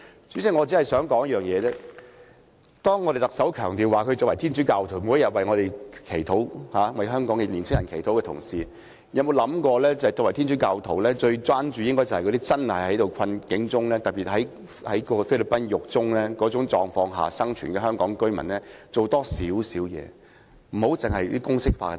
主席，當特首強調她是天主教徒，每天為我們、為香港年輕人祈禱的同時，有否想過她作為天主教徒，最應關注那些真正處於困境的人，並特別為那些被囚在菲律賓監獄的香港居民多做點工作？